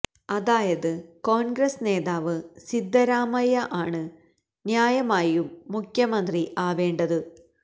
അതായത് കോൺഗ്രസ് നേതാവ് സിദ്ധരാമയ്യ ആണ് ന്യായമായും മുഖ്യമന്ത്രി ആവേണ്ടത്